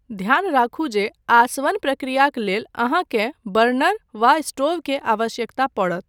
ध्यान राखू जे आसवन प्रक्रियाक लेल अहाँकेँ बर्नर वा स्टोव के आवश्यकता पड़त।